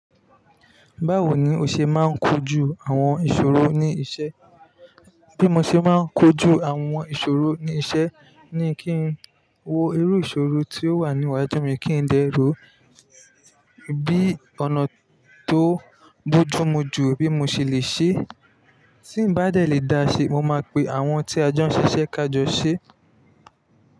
Báwo ni o ṣe máa ń kojú àwọn ìṣòro ní iṣẹ́? Bí mo ṣe máa ń kojú àwọn ìṣòro ní iṣẹ́, ni kí n wo irú ìṣòro tí ó wà níwájú mi kí n dẹ ro, bí ọ̀nà tó bójú mu jù bí mo ṣe lè ṣe é. Tí ǹ bá dẹ̀ lè dá ṣe, mo máa pe àwọn tí a jo ń ṣiṣẹ́ kájọ sé.